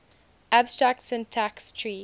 abstract syntax tree